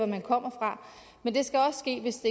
man kommer fra men det skal også ske hvis